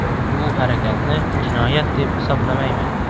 Bu harakatni jinoyat deb hisoblamayman.